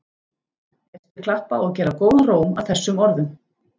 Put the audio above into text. Gestir klappa og gera góðan róm að þessum orðum.